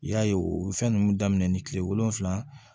I y'a ye o fɛn ninnu daminɛ ni kile wolonfula